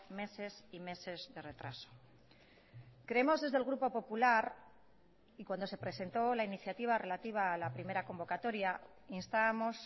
meses y meses de retraso creemos desde el grupo popular y cuando se presentó la iniciativa relativa a la primera convocatoria instábamos